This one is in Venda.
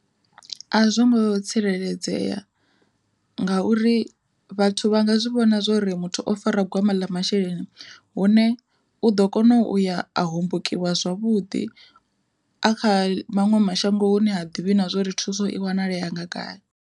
A zwongo tsireledzea, ngauri vhathu vha nga zwi vhona zwori muthu o fara gwama ḽa masheleni hune u ḓo kona uya a hombokiwa zwavhuḓi a kha maṅwe mashango hu ne ha ḓivhi na zwori thuso i wanalea nga gai